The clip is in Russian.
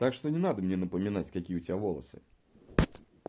так что не надо мне напоминать какие у тебя волосы